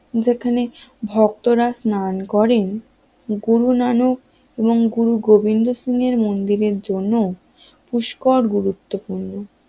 যেখানে ভক্তরা স্নান করেন গুরু নানক এবং গুরু গোবিন্দ সিং এর মন্দিরের জন্য পুষ্কর গুরুত্বপূর্ণ